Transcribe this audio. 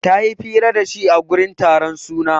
Ta yi fira da shi a gurin taron suna.